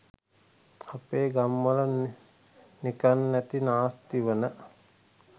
අපේ ගම්වල නිකන් නැති නාස්ති වන